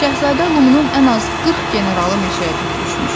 Şahzadə Limonun ən az 40 generalı meşəyə tökülüşmüşdü.